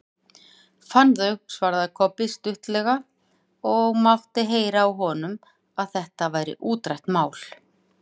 Fann þau, svaraði Kobbi stuttaralega og mátti heyra á honum að þetta væri útrætt mál.